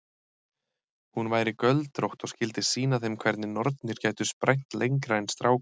Hún væri göldrótt og skyldi sýna þeim hvernig nornir gætu sprænt lengra en strákar.